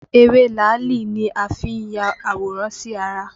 Ewé làálì ni a fi n ya àwòrán sí ara